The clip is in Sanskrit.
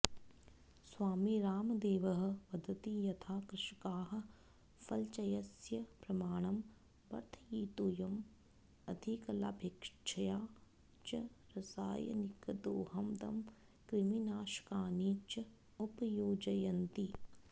स्वामी रावदेवः वदति यथा कृषकाः फलचयस्य प्रमाणं वर्धयितुम् अधिकलाभेच्छया च रसायनिकदोहदं क्रिमिनाशकानि च उपयोजयन्ति